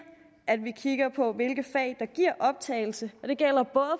at vi kigger på hvilke fag der giver optagelse